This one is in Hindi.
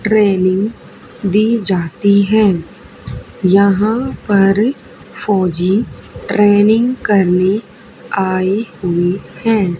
ट्रेनिंग दी जाती है यहां पर फौजी ट्रेनिंग करने आए हुए हैं।